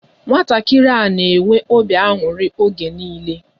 Nwatakịrị a na-enwe obi aṅụrị oge niile.